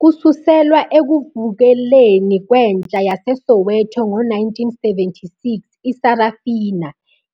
Kususelwa ekuvukeleni kwentsha yaseSoweto ngo-1976, iSarafina!